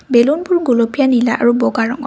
বেলুনবোৰ গুলপীয়া নীলা আৰু বগা ৰঙৰ।